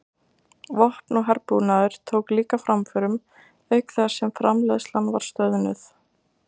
Vopn og herbúnaður tók líka framförum auk þess sem framleiðslan var stöðluð.